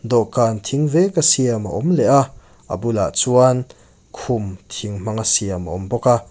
dawhkan thing veka siam a awm leh a a bulah chuan khum thing hmanga siam a awm bawk a.